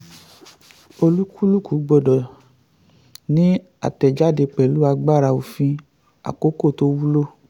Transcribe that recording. olúkúlùkù gbọ́dọ̀ ni àtẹ̀jáde pẹ̀lú agbára òfin àkókò tó wulo.